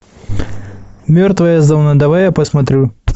мертвая зона давай я посмотрю